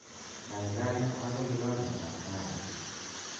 Kaikai amache kikombet ab kahawek